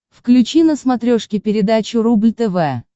включи на смотрешке передачу рубль тв